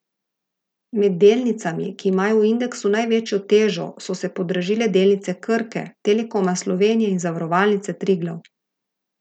Med delnicami, ki imajo v indeksu največjo težo, so se podražile delnice Krke, Telekoma Slovenije in Zavarovalnice Triglav.